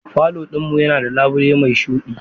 Falo ɗin mu yana da labule mai shuɗi.